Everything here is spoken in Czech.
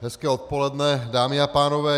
Hezké odpoledne, dámy a pánové.